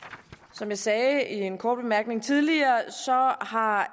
som jeg sagde i en kort bemærkning tidligere har